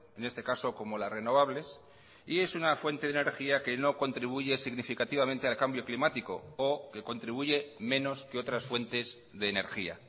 en este caso como las renovables y es una fuente de energía que no contribuye significativamente al cambio climático o que contribuye menos que otras fuentes de energía